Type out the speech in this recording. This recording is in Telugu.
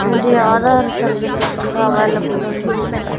ఉంది ఆధార్ సర్వీసెస్ గుడా అవైలబుల్ లో ఉందిక్కడ.